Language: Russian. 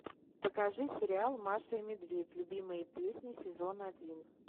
покажи сериал маша и медведь любимые песни сезон один